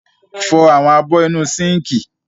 Fọ àwọn abọ́ inú sínkì.